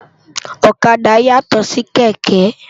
Òkàdá yátò si kèkè